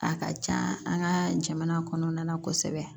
A ka can an ka jamana kɔnɔna na kosɛbɛ